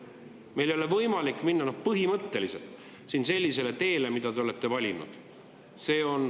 Meil ei ole põhimõtteliselt võimalik minna sellisele teele, mille te olete valinud.